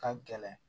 Ka gɛlɛn